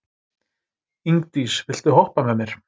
Ingdís, viltu hoppa með mér?